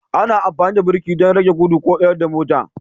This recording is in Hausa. Ana amfani da birki don rage gudu ko tsayar da mota